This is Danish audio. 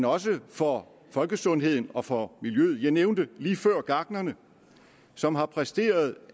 også for folkesundheden og for miljøet jeg nævnte lige før gartnerne som har præsteret